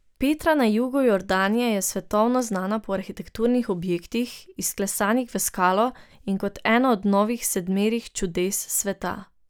Petra na jugu Jordanije je svetovno znana po arhitekturnih objektih, izklesanih v skalo, in kot eno od novih sedmerih čudes sveta.